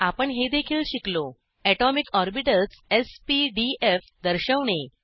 आपण हे देखील शिकलो atomic orbitals s p d f दर्शवणे